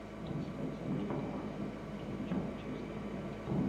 трансляция между командами норвич манчестер юнайтед